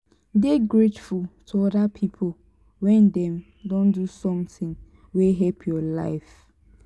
dey grateful to oda pipo when dem don do something wey help your life